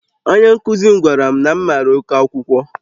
Onye nkuzi m gwara m na m mara oke akwụkwọ